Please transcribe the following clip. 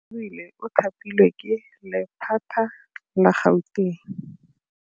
Oarabile o thapilwe ke lephata la Gauteng.